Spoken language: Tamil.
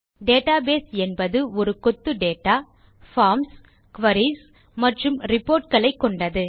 டேட்டாபேஸ் என்பது ஒரு கொத்து டேட்டா பார்ம்ஸ் குரீஸ் மற்றும் ரிப்போர்ட் களை கொண்டது